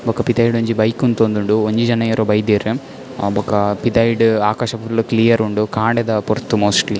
ಬೊಕ್ಕ ಪಿದಾಯ್ಡ್ ಒಂಜಿ ಬೈಕ್ ಉಂತೊಂದುಂಡು ಒಂಜಿ ಜನ ಏರೊ ಬೈದೆರ್ ಅಹ್ ಬೊಕ್ಕ ಪಿದಾಯ್ಡ್ ಆಕಾಶ ಫುಲ್ಲ್ ಕ್ಲಿಯರ್ ಉಂಡು ಕಾಂಡೆದ ಪೊರ್ತು ಮೋಸ್ಟ್ಲಿ .